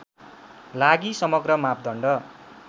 लागि समग्र मापदण्ड